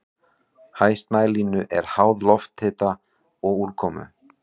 Hæð snælínu er háð lofthita og úrkomu.